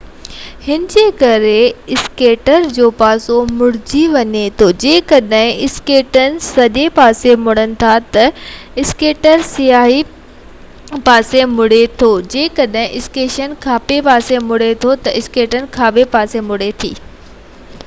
هن جي ڪري اسڪيٽر جو پاسو مُڙي وڃي ٿو جيڪڏهن اسڪيٽس ساڄي پاسي مُڙن ٿا تہ اسڪيٽر ساڃي پاسي مُڙي ٿو جيڪڏهن اسڪيٽس کاٻي پاسي مُڙي ٿو تہ اسڪيٽر کاٻي پاسي مُڙي ٿو